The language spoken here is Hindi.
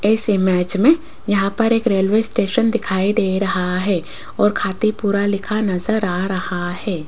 इस इमेज में यहां पर एक रेलवे स्टेशन दिखाई दे रहा है और खातीपुरा लिखा नजर आ रहा है।